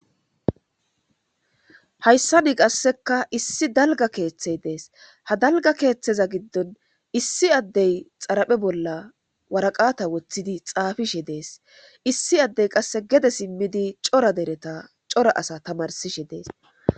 hayssa nii qasseka issi dalga keeththey dees ha dalga keeththeza giddon issi addey xaraphe bolla waraqata woththidi xaafishe dees issi addey qasse gede simmidi cora dereta cora asa tamarsishe dees